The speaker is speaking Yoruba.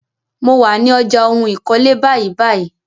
Mo wà ní ọjà ohun ìkọ́lé báyìbáyìí.